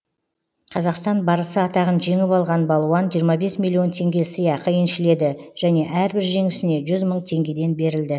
қазақстан барысы атағын жеңіп алған балуан жиырма бес миллион теңге сыйақы еншіледі және әрбір жеңісіне жүз мың теңгеден берілді